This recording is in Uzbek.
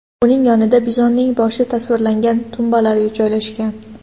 Uning yonida bizonning boshi tasvirlangan tumbalar joylashgan.